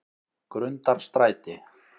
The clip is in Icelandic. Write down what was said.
Grundarstræti